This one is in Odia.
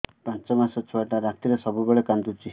ପାଞ୍ଚ ମାସ ଛୁଆଟା ରାତିରେ ସବୁବେଳେ କାନ୍ଦୁଚି